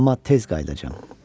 Amma tez qayıdacağam.